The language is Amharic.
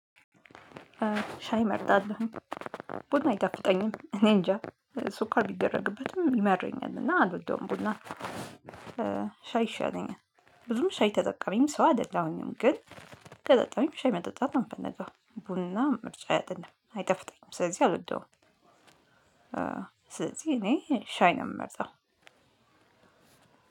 ሻይ እመርጣለሁ። ቡና አይጣፍጠኝም እኔ እንጃ ሱኳር ቢደረግበትም ይመረኛል እና አልወደውም ቡና ሻይ ይሻለኛል ብዙም ሻይ ተጠቃሚም ሰው አይደለሁኝም። ግን ከጠጣሁኝ ሻይ መጠጣት ነው የምፈልገው። ቡና ምርጫየ አይደለም፣ አይጣፍጠኝም ስለዚህ አልወደውም። ስለዚህ እኔ ሻይ ነው የምመርጠው።